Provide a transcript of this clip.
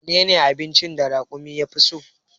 Menene abincin da raƙumi ya fi so?